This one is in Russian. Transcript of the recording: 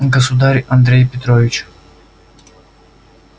государь андрей петрович